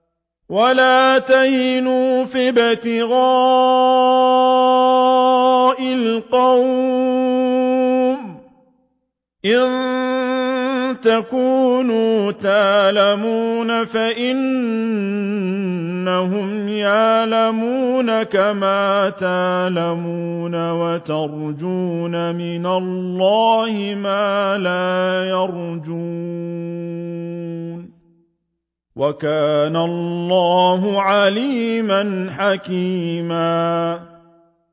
وَلَا تَهِنُوا فِي ابْتِغَاءِ الْقَوْمِ ۖ إِن تَكُونُوا تَأْلَمُونَ فَإِنَّهُمْ يَأْلَمُونَ كَمَا تَأْلَمُونَ ۖ وَتَرْجُونَ مِنَ اللَّهِ مَا لَا يَرْجُونَ ۗ وَكَانَ اللَّهُ عَلِيمًا حَكِيمًا